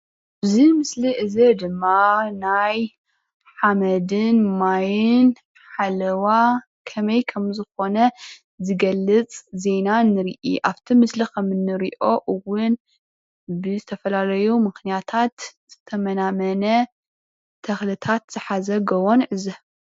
እዚ ምስሊ እዚ ድማ ናይ ሓመድን ማይን ሓለዋ ከመይ ኮም ዝኮነ ዝገልፅ ዜና ንርኦ. ኣብቲ ምስሊ ከም እንርኦ እውን ብዝተፈላለዩ ምክንያታት ዝተመናመነ ተክልታት ዝሓዘ ጎቦ ንዕዘብ፡፡